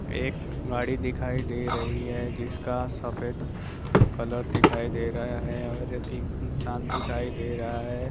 एक गाड़ी दिखाई दे रही है जिसका सफेद कलर दिखाई दे रहा है और एक इंसान दिखाई दे रहा है।